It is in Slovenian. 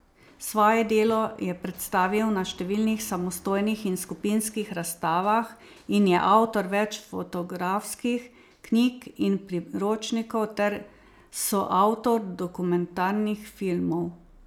Svoje delo je predstavil na številnih samostojnih in skupinskih razstavah in je avtor več fotografskih knjig in priročnikov ter soavtor dokumentarnih filmov.